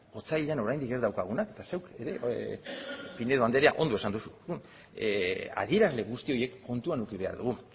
otsailean oraindik ez daukaguna zuk hori pinedo andrea ondo esan duzu adierazle guzti horiek kontuan eduki behar dugu